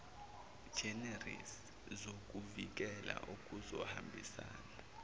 generis zokuvikela okuzohambisana